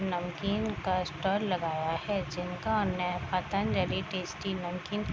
नमकीन का स्टाल लगा हुआ है जिनका नेम पतंजलि टेस्टी नमकीन --